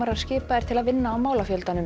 skipaðir til að vinna á málafjöldanum